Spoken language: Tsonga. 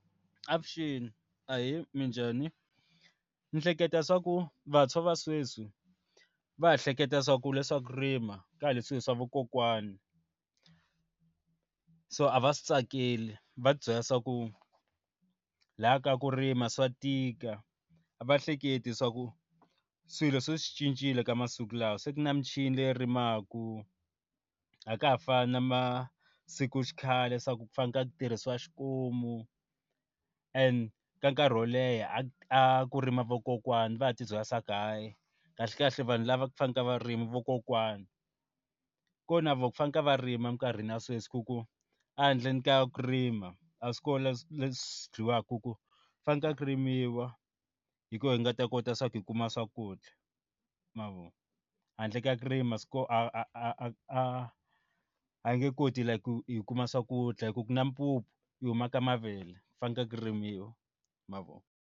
Avuxeni ahee minjhani, ni hleketa swa ku vantshwa va sweswi va ha hleketa swa ku leswaku rima kale swilo swa vakokwani so a va swi tsakeli va byela swa ku laha ka ku rima swa tika a va hleketi swa ku swilo se swi cincile ka masiku lawa se ku na michini leyo rimaku ha ka ha fani na masiku xikhale swa ku fana ku tirhisiwa xikomu and ka nkarhi wo leha a ku rima vakokwana va ya tibyela swa ku hayi kahle kahle vanhu lava faneke varimi vakokwani ku na vafanekele va rima minkarhi na sweswi ku ku a handle ka ku rima a swi kona leswi dyiwaka ku fanekele ku rimiwa hi ku hi nga ta kota swa ku hi kuma swakudya mavona handle ka kurima koho a a a nge koti ku hi kuma swakudya hi ku na mpupu yi huma ka mavele, ku faneke ku rimiwa.